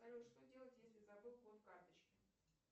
салют что делать если забыл код карточки